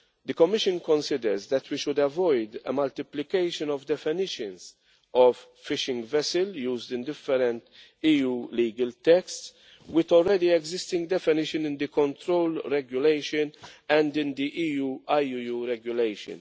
The Commission considers that we should avoid a multiplication of definitions of fishing vessel' used in different EU legal texts with already existing definition in the Control Regulation and in the EU IUU Regulation.